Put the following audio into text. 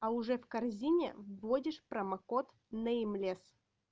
а уже в корзине вводишь промокод неймлес